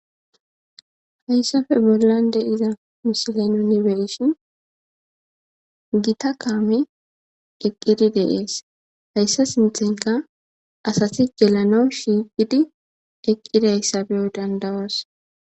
Haysape bolan de'iza misile nuni be'ishin. Gita camey eqidi de'es hesa sinthenka asati gelanas shiqidi eqidaysa be'o danda'os